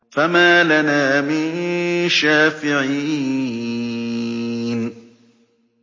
فَمَا لَنَا مِن شَافِعِينَ